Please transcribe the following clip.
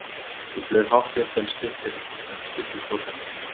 Ég flaug hátt upp en stutt í brotlendingu.